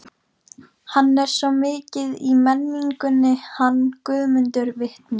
Hann er svo mikið í menningunni, hann Guðmundur vitni.